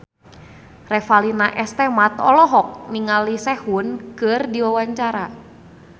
Revalina S. Temat olohok ningali Sehun keur diwawancara